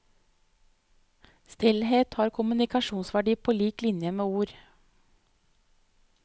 Stillhet har kommunikasjonsverdi på lik linje med ord.